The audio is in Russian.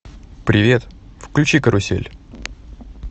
привет включи карусель